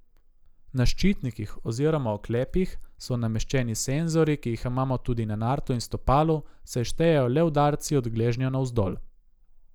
Na ščitnikih oziroma oklepih so nameščeni senzorji, ki jih imamo tudi na nartu in stopalu, saj štejejo le udarci od gležnja navzdol.